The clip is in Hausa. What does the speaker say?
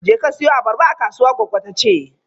Jeka siyo abarba a kasuwa, goggo ta ce.